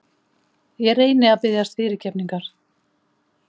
Ég reyni að biðjast fyrirgefningar.